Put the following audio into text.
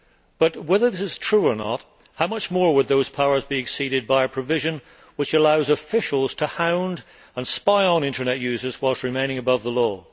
But, whether this is true or not, how much more would those powers be exceeded by a provision which allows officials to hound and spy on internet users whilst remaining above the law?